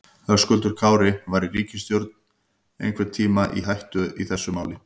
Höskuldur Kári: Var ríkisstjórnin einhvern tímann í hættu í þessu máli?